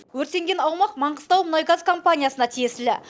өртенген аумақ маңғыстаумұнайгаз компаниясына тиесілі